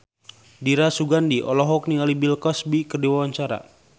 Dira Sugandi olohok ningali Bill Cosby keur diwawancara